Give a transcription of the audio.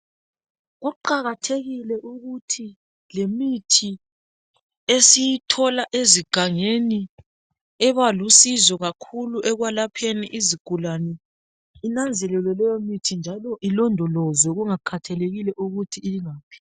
Kuqakathekile ukuthi lemithi esiyithola ezigangeni eba lusizo kakhulu ekwelapheni izigulani inanzelelwe leyo mithi njalo ilondolozwe kungakhathalekile ukuthi ingaphi.